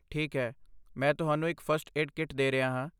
ਠੀਕ ਹੈ, ਮੈਂ ਤੁਹਾਨੂੰ ਇੱਕ ਫਸਟ ਏਡ ਕਿੱਟ ਦੇ ਰਿਹਾ ਹਾਂ